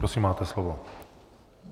Prosím, máte slovo.